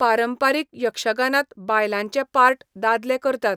पारंपारीक यक्षगनांत बायलांचे पार्ट दादले करतात.